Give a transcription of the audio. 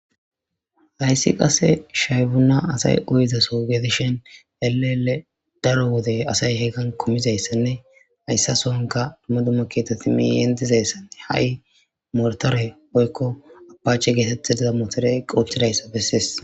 Hayssi qase shayfuna asay uyizaso getishen elele daro wode asay heegan komizayssanne hayssa sonka dumma dumma keeteti meyentizayssanne ha'i mortore oykko abache geetette diza mootore qoothtidayssa bessees